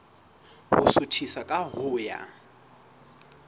ho suthisa ka ho ya